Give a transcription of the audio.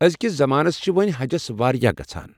أزۍ کِس زمانس چھِ وۄنۍ حجس واریاہ گژھان